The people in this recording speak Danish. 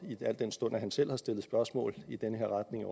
al den stund han også selv har stillet spørgsmål i den her retning